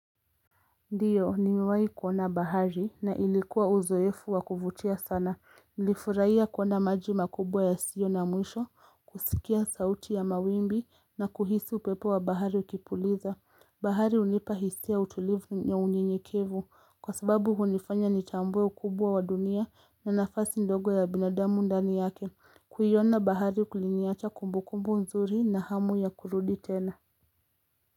Ndiyo nimewahi kuona bahari na ilikuwa uzoefu wa kuvutia sana nilifurahia kuona maji makubwa yasio na mwisho kusikia sauti ya mawimbi na kuhisi upepo wa bahari ukipuliza bahari hunipa hisia ya utulivu ya unyenyekevu kwa sababu hunifanya nitambue ukubwa wa dunia na nafasi ndogo ya binadamu ndani yake kuiona bahari kuliniacha kumbukumbu nzuri na hamu ya kurudi tena.